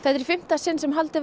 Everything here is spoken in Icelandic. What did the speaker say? er í fimmta sinn sem haldið